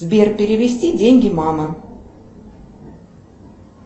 сбер перевести деньги мама